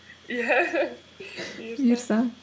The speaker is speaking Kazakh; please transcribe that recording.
иә бұйырса